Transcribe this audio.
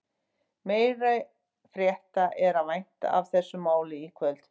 Meiri frétta er að vænta af þessu máli í kvöld.